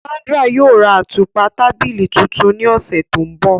Sandra yóò rá àtupa tàbílí tuntùn ni ọsẹ tó nbọ̀.